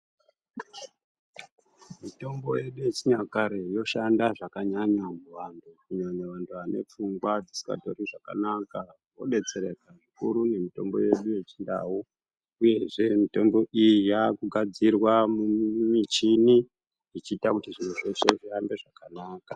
Mitombo yedu yechinyakare yoshanda zvakanyanya kuvantu kunyanya vantu vane pfungwa dzisingatori zvakanaka. Vobetsereka zvikuru nemitombo yedu yeChiNdau uyezve mitombo iyi yakugadzirwa mumichini ichiita kuti zviro zveshe zvifambe zvakanaka.